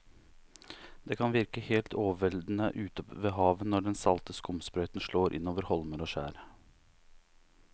Det kan virke helt overveldende ute ved havet når den salte skumsprøyten slår innover holmer og skjær.